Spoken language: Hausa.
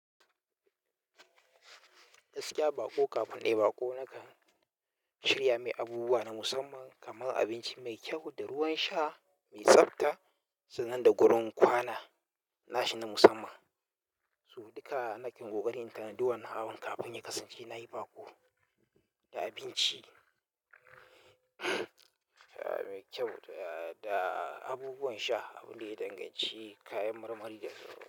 Gaskiya baƙo kafin nyii baƙo nakan shirya mai abubuwa na musamman kamar abinci mai kyau da ruwan sha mai tsabta, sannan da wurin kwana nashi na musamman. Su duka nakan ƙoƙari natanadi wannan hawan kafin ya kasance na yi baƙo da abinci mai kyau da abubuwan sha, abin da ya danganci kayan marmari da ruwa.